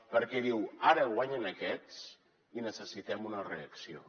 perquè diu ara guanyen aquests i necessitem una reacció